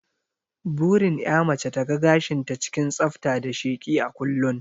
Burin ƴa mace ta ga gashin ta cikin tsafta da sheki a kullun